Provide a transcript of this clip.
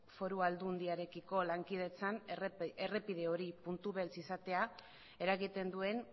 foru aldundiarekiko lankidetzan errepide hori puntu beltz izatea eragiten duen